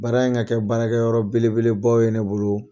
Baara in ka kɛ baarakɛ yɔrɔ bele bele baw ye ne bolo.